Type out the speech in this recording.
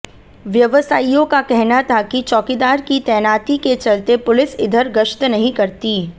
व्यवसाइयों का कहना था कि चौकीदार की तैनाती के चलते पुलिस इधर गश्त नहीं करती